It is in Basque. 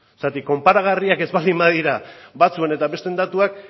zergatik konparagarriak ez baldin badira batzuen eta besteen datuak